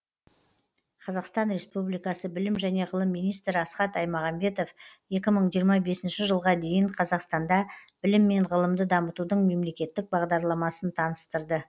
қазақстан республикасы білім және ғылым министрі асхат аймағамбетов екі мың жиырма бесінші жылға дейін қазақстанда білім мен ғылымды дамытудың мемлекеттік бағдарламасын таныстырды